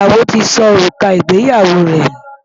Ìyàwó ti sọ òrùka ìgbéyàwó rẹ̀ nù.